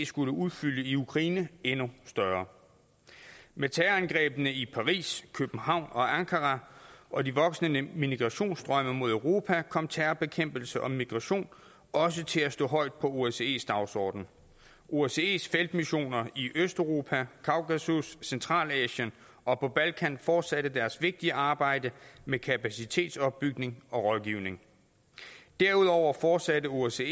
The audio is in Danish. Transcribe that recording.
skulle udfylde i ukraine endnu større med terrorangrebene i paris københavn og ankara og de voksende migrationsstrømme mod europa kom terrorbekæmpelse og migration også til at stå højt på osces dagsorden osces feltmissioner i østeuropa kaukasus og centralasien og på balkan fortsatte deres vigtige arbejde med kapacitetsopbygning og rådgivning derudover fortsatte osce